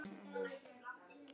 Af því hún ætlaði.